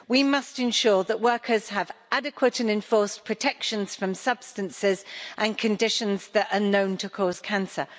We must ensure that workers have adequate and enforced protection from substances and conditions that are known to cause cancer.